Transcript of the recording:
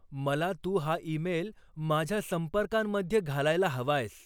मला तू हा ईमेल माझ्या संपर्कांमध्ये घालायला हवायस.